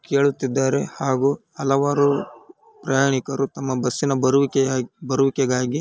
ಕೇಳುತ್ತಿದ್ದಾರೆ ಹಾಗೂ ಹಲವಾರು ಪ್ರಯಾಣಿಕರು ತಮ್ಮ ಬಸ್ಸಿನ ಬರುವಿಕೆ-ಬರುವಿಕೆಗಾಗಿ--